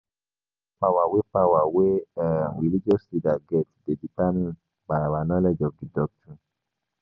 Di amount of power wey power wey um religious leaders get dey determimed by our knowledge of di doctrine